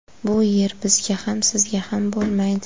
Bu yer bizga ham sizga ham bo‘lmaydi.